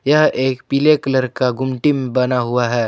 यह एक पीले कलर का गुमटी में बना हुआ है।